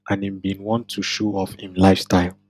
and im bin want to show off im lifestyle